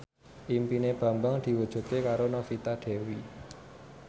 impine Bambang diwujudke karo Novita Dewi